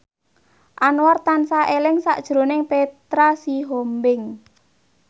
Anwar tansah eling sakjroning Petra Sihombing